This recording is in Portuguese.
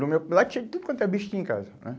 No meu... Lá tinha tudo quanto é bicho tinha em casa, né?